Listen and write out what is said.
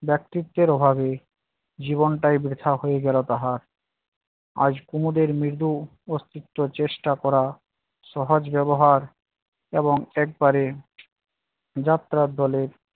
ব্যক্তিত্বের অভাবে জীবনটাই বৃথা হয়ে গেলো তাহার। আজ কুমোদের মৃদু অস্তিত্ব চেষ্টা করা সহজ ব্যবহার এবং একবারে যাত্রার দলে